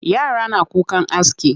Yara na kukan aski.